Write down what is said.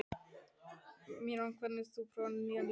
Marínó, hefur þú prófað nýja leikinn?